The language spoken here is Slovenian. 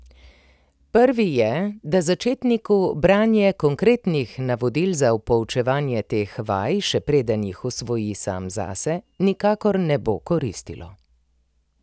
Prvi je, da začetniku branje konkretnih navodil za poučevanje teh vaj, še preden jih usvoji sam zase, nikakor ne bo koristilo.